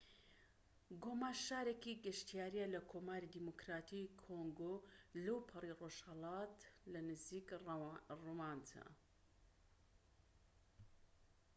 گۆما شارێکی گەشتیاریە لە کۆماری دیموکراتیی کۆنگۆ لەوپەڕی ڕۆژهەڵات لە نزیك ڕواندا